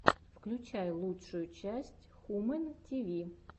включай лучшую часть хумэн ти ви